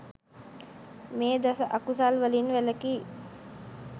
මේ දස අකුසල් වලින් වැළැකී